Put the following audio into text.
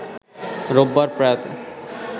রোববার প্রয়াতে